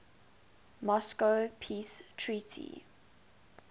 moscow peace treaty